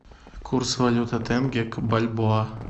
курс валюты тенге к бальбоа